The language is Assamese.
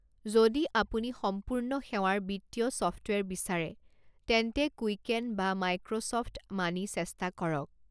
যদি আপুনি সম্পূৰ্ণ সেৱাৰ বিত্তীয় ছফ্টৱেৰ বিচাৰে, তেন্তে কুইকেন বা মাইক্ৰ'ছফ্ট মানি চেষ্টা কৰক।